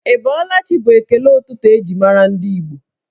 Ị bọọla chi bụ ekele ụtụtụ eji mara ndị Igbo